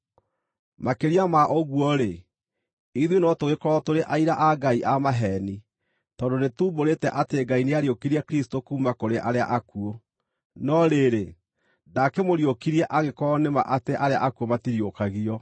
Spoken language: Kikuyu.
Makĩria ma ũguo-rĩ, ithuĩ no tũgĩkorwo tũrĩ aira a Ngai a maheeni, tondũ nĩtuumbũrĩte atĩ Ngai nĩariũkirie Kristũ kuuma kũrĩ arĩa akuũ. No rĩrĩ, ndaakĩmũriũkirie angĩkorwo nĩ ma atĩ arĩa akuũ matiriũkagio.